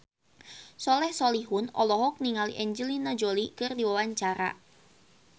Soleh Solihun olohok ningali Angelina Jolie keur diwawancara